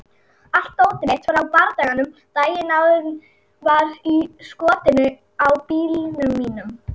Allt dótið mitt frá bardaganum daginn áður var í skottinu á bílnum mínum.